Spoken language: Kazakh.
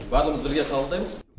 барлығымыз бірге қабылдаймыз